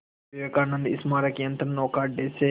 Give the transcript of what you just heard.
विवेकानंद स्मारक यंत्रनौका अड्डे से